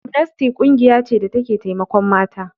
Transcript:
Amnesty ƙungiya ce da take taimakon mata.